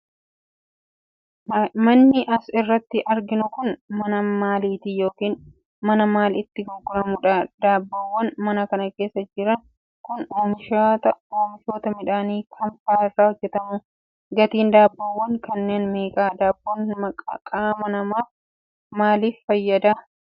Manni as irratti arginu kun, mana maalitii yokin mana maal itti gurguramuudha? Daabboowwan mana kana keessa jiran kun, oomishoota midhaanii kam faa irrraa hojjatamu? Gatiin daabboowwan kanneen meeqa? Daabboon qaama namaaf maal maaliif fayyada?